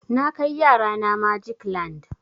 Na kai yara na magic land.